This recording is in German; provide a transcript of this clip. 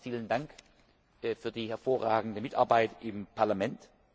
Nochmals vielen Dank für die hervorragende Mitarbeit im Parlament.